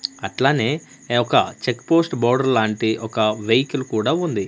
అట్లనే ఎ ఒక్క చెక్ పోస్ట్ బోర్డర్ లాంటి ఒక వెహికల్ కూడా ఉంది.